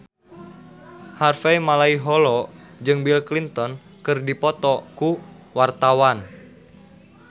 Harvey Malaiholo jeung Bill Clinton keur dipoto ku wartawan